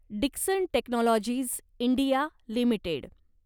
Dixon technologies India limited